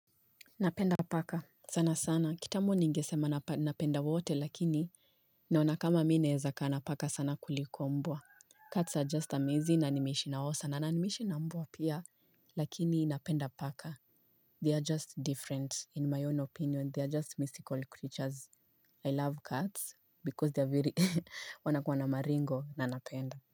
Napenda paka. Sana sana. Kitambo ningesema napenda wote, lakini, naona kama mimi naweza kaa na paka sana kuliko mbwa. Cats are just amazing na nimeishi nao sana. Na nimeishi na mbwa pia, lakini napenda paka. They are just different in my own opinion. They are just mystical creatures. I love cats, because they are very, wanakuwa na maringo na napenda.